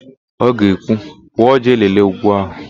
Ọ ga-ekwu, "pụọ jee lelee úgwú ahụ"!